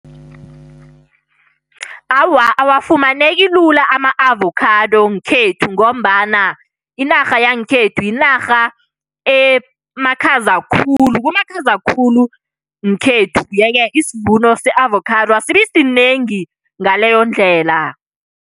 Awa, awafumaneki lula ama-avocado ngekhethu ngombana inarha yangekhethu yinarha emakhaza khulu. Kumakhaza khulu ngekhethu. Yeke, isivuno se-avocado asibi sinengi ngaleyo ndlela.